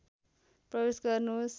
प्रवेश गर्नुहोस्